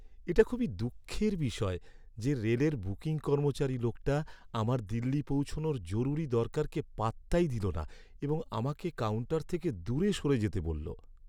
এটা খুবই দুঃখের বিষয় যে, রেলের বুকিং কর্মচারী লোকটা আমার দিল্লি পৌঁছনোর জরুরি দরকারকে পাত্তাই দিল না এবং আমাকে কাউন্টার থেকে দূরে সরে যেতে বলল।